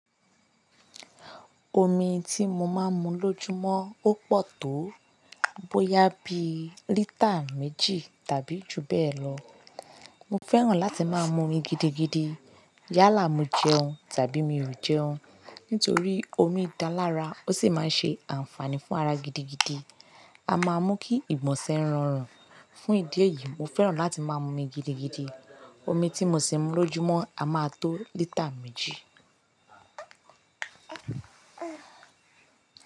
Omi tí mo máa ń mu lójúmọ́ ó pọ̀ tó bóyá bí lítà méjì tàbí ju bẹ́ẹ̀ lọ. Mo fẹ́ràn láti máa mu omi gidigidi yálà mo jẹun tàbí mi ò jẹun. Nítorí omi dá lára ó sì máa ń ṣe àǹfààní fún ara gidigidi. A máa mú kí ìgbọnse ran rùn. Fún ìdí èyí, mo fẹ́ràn láti máa mu omi gidigidi. Omi tí mo ṣi ń mu lójúmọ́ a máa tó lítà méjì.